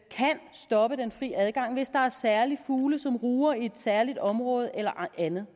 stoppe den fri adgang hvis der er særlige fugle som ruger i et særligt område eller andet